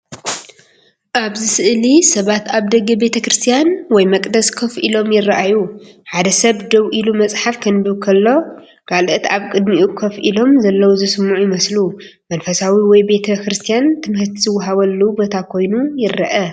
ኣብዚ ስእሊ ሰባት ኣብ ደገ ቤተክርስትያን ወይ መቕደስ ኮፍ ኢሎም ይረኣዩ። ሓደ ሰብ ደው ኢሉ መጽሓፍ ከንብብ ከሎ፡ ካልኦት ኣብ ቅድሚኡ ኮፍ ኢሎም ዘለዉ ዝሰምዑ ይመስሉ። መንፈሳዊ ወይ ቤተ ክርስቲያን ትምህርቲ ዝወሃበሉ ቦታ ኮይኑ ይረአ።